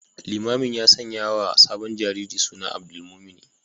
Limamin ya sanyawa sabon jariri suna Abdulmumuni